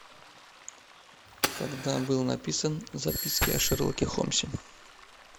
когда был написан записки о шерлоке холмсе